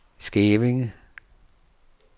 Skævinge